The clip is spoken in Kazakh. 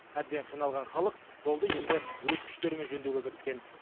әбден қиналған халық жолды енді өз күштерімен жөндеуге кіріскен